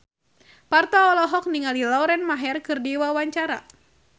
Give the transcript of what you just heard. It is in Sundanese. Parto olohok ningali Lauren Maher keur diwawancara